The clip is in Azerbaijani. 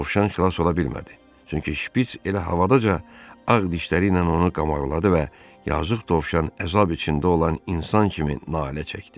Dovşan xilas ola bilmədi, çünki şpiç elə havadaca ağ dişləri ilə onu qamağladı və yazıq dovşan əzab içində olan insan kimi nalə çəkdi.